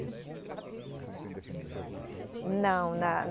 Você ficou dez anos lá na ca, na? Não, na